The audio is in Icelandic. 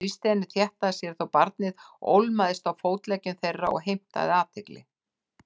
Hann þrýsti henni þétt að sér þótt barnið ólmaðist á fótleggjum þeirra og heimtaði athygli.